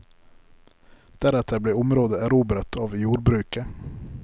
Deretter ble området erobret av jordbruket.